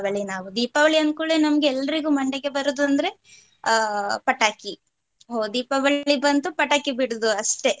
ನಾವು ದೀಪಾವಳಿ ಅನ್ಧ ಕೂಡ್ಲೆ ನಮ್ಗೆ ಎಲ್ರಿಗೂ ಮಂಡೆಗೆ ಬರುದಂದ್ರೆ ಅಹ್ ಪಟಾಕಿ ಹೋ ದೀಪಾವಳಿ ಬಂತು ಪಟಾಕಿ ಬಿಡೋದು ಅಷ್ಟೆ.